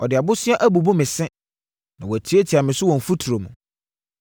Ɔde aboseaa abubu me se; na watiatia me so wɔ mfuturo mu.